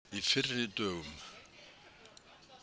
Í fyrri dögum.